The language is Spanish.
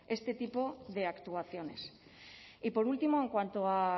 este tipo de actuaciones y por último en cuanto a